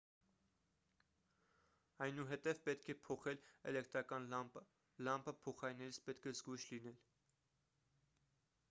այնուհետև պետք է փոխել էլեկտրական լամպը լամպը փոխարինելիս պետք է զգույշ լինել